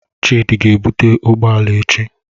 Chidi ga-ebute ụgbọ ala echi.